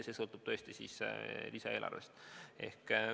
See sõltub tõesti lisaeelarvest.